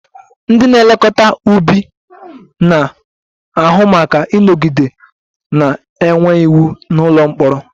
Ndị na-elekọta ubi na-ahụ maka ịnọgide na-enwe iwu n'ụlọ mkpọrọ